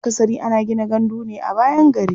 Akasari ana gina gandu ne a bayan gari.